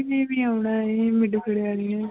ਵੀ ਆਉਣਾ ਹੈ ਵਾਲੀ ਨੇ